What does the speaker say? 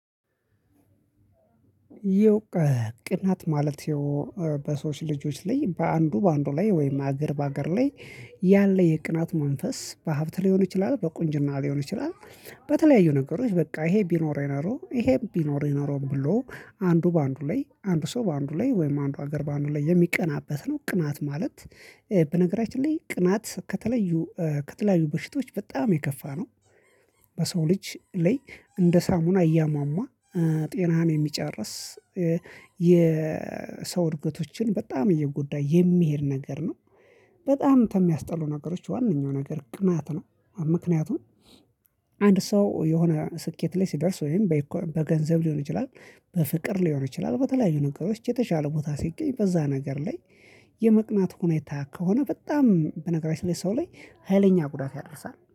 ቅናት ማለት በሰዎች ልጆች ላይ በአንዱ በአንዱ ላይ ወይም ሀገር በሀገር ላይ ያለ የቅናት መንፈስ በሀብት ሊሆን ይችላል በቁንጅና ሊሆን ይችላል። በተለያዩ ነገሮች በቃ ይሄ ቢኖረኝ ኖሮ ይሄም ቢኖረኝ ኖሮ ብሎ አንዱ በአንዱ ላይ አንድ ሰው በአንዱ ላይ ወይም አንዱ ሀገር በአንዱ ላይ የሚቀናበት ነው። ቅናት ማለት በነገራችን ላይ ቅናት ከተለዩ ከተለያዩ በሽታዎች በጣም የከፋ ነው። በሰው ልጅ ላይ እንደ ሳሙና እያሟሟ ጤናን የሚጨርስ የሰው እድገቶችን በጣም እየጎዳ የሚሄድ ነገር ነው። በጣም ተሚያስጠሉ ነገሮች ዋናኛው ነገር ቅናት ነው። ምክንያቱም አንድ ሰው የሆነ ስኬት ላይ ሲደርስ ወይም በገንዘብ ሊሆን ይችላል በፍቅር ሊሆን ይችላል በተለያዩ ነገሮች የተሻለ ቦታ ሲገኝ በዛ ነገር ላይ የመቅናት ሁኔታ ከሆነ በጣም በነገራችን ላይ ሰው ላይ ሀይለኛ ጉዳት ያደርሳል